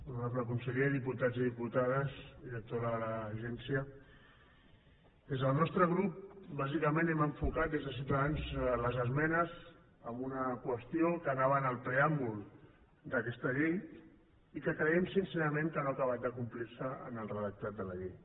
honorable conseller diputats i diputades directora de l’agència des del nostre grup bàsicament hem enfocat des de ciutadans les esmenes amb una qüestió que anava en el preàmbul d’aquesta llei i que creiem sincerament que no ha acabat de complirse en el redactat de la llei